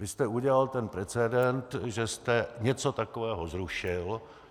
Vy jste udělal ten precedent, že jste něco takového zrušil.